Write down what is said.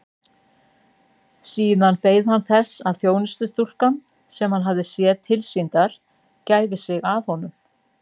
Síðan beið hann þess að þjónustustúlkan sem hann hafði séð tilsýndar gæfi sig að honum.